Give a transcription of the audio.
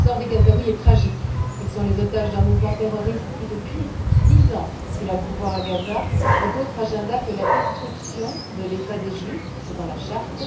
Le sort des Gazouïs est tragique. Ils sont les otages d'un mouvement terroriste qui, depuis dix ans qu'il a le pouvoir à Gaza, n'a d'autre agenda que la destruction de l'État des Juifs, c'est dans la charte.